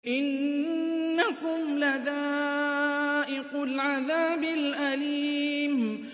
إِنَّكُمْ لَذَائِقُو الْعَذَابِ الْأَلِيمِ